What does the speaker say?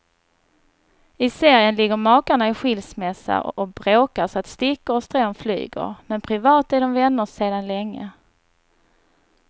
I serien ligger makarna i skilsmässa och bråkar så att stickor och strån flyger, men privat är de vänner sedan länge.